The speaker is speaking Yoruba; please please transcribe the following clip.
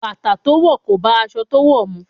Bàtà to wò kò bá aṣọ to wò mu.